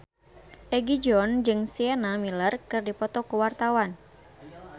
Egi John jeung Sienna Miller keur dipoto ku wartawan